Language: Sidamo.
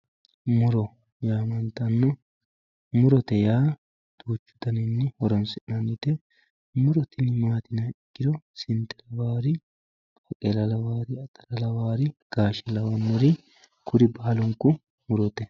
Muro yaamantanno, murotte yaa duuchu daninni horonsinanite, muro tini maati yiniha ikkiro, sinde lawari, baaqqeella lawari, atara lawari, gaashe lawari kuri baalunku murote